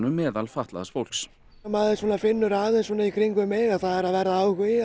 meðal fatlaðs fólks maður finnur aðeins í kringum mig að það er að verða áhugi